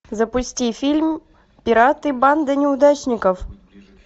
запусти фильм пираты банда неудачников